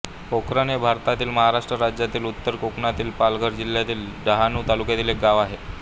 पोखरण हे भारतातील महाराष्ट्र राज्यातील उत्तर कोकणातील पालघर जिल्ह्यातील डहाणू तालुक्यातील एक गाव आहे